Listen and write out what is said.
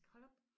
Hold op